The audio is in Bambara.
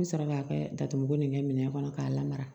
N bɛ sɔrɔ k'a kɛ datuguko ni kɛ minɛn kɔnɔ k'a lamara